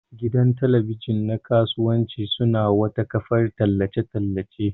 Gidan talabijin na kasuwanci sune wata kafar tallace tallace.